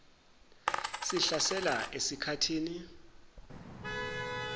sihlasela esik hathini